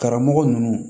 Karamɔgɔ ninnu